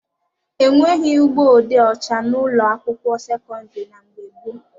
E nweghị ụgbọ odee ọcha n'ụlọ akwụkwọ sekọndịrị na mgbe gboo.